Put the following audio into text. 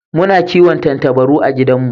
Muna kiwon Tattabaru a gidan mu